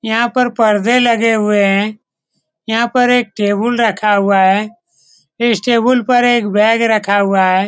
यहाँ पर पर्दे लगे हुए हैं। यहाँ पर एक टेबुल रखा हुआ है। इस टेबुल पर एक बैग रखा हुआ है।